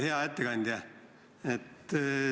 Hea ettekandja!